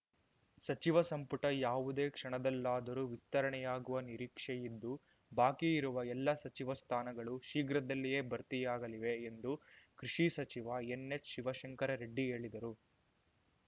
ಸಚಿವ ಸಂಪುಟ ಯಾವುದೇ ಕ್ಷಣದಲ್ಲಾದರೂ ವಿಸ್ತರಣೆಯಾಗುವ ನಿರೀಕ್ಷೆಯಿದ್ದು ಬಾಕಿ ಇರುವ ಎಲ್ಲ ಸಚಿವ ಸ್ಥಾನಗಳೂ ಶೀಘ್ರದಲ್ಲಿಯೇ ಭರ್ತಿಯಾಗಲಿವೆ ಎಂದು ಕೃಷಿ ಸಚಿವ ಎನ್‌ಎಚ್‌ ಶಿವಶಂಕರ ರೆಡ್ಡಿ ಹೇಳಿದರು